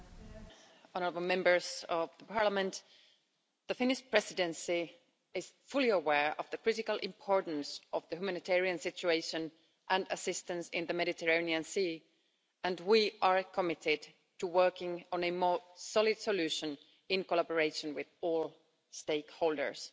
Madam President, the Finnish Presidency is fully aware of the critical importance of the humanitarian situation and assistance in the Mediterranean Sea, and we are committed to working on a more solid solution in collaboration with all stakeholders.